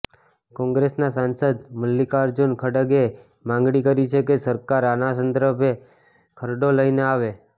કોંગ્રેસના સાંસદ મલ્લિકાર્જૂન ખડગેએ માગણી કરી છે કે સરકાર આના સંદ્રભે ખરડો લઈને આવે